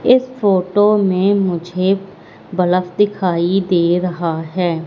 इस फोटो में मुझे बल्ब दिखाई दे रहा है।